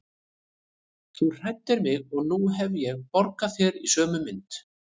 Þú hræddir mig og nú hef ég borgað þér í sömu mynt.